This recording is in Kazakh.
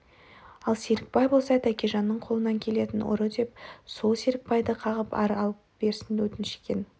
ал серікбай болса тәкежанның қолынан келетін ұры деп сол серікбайды қағып арылып берсін деп өтініш еткен екен